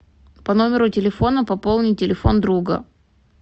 по номеру телефона пополни телефон друга